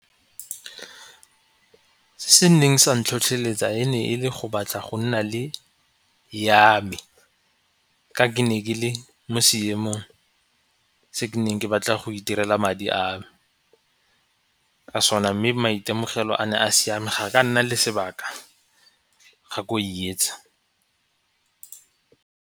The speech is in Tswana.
Se neng sa ntlhotlheletsa e ne e le go batla go nna le yame ka ke ne ke le mo seemong se ke neng ke batla go itirela madi a me ka sona mme maitemogelo a ne a siame ga ka nna le sebaka ga ko e yetsa.